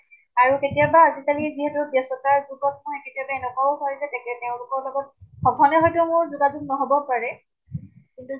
আৰু কেতিয়াবা, আজিকালি যিহেতু কেতিয়াবা এনেকুৱা ও হয় যে তেওলোকৰ লগত, সঘনে হয়্তো মোৰ যোগাযোগ নহʼবও পাৰে । কিন্তু